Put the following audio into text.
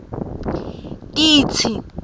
titsi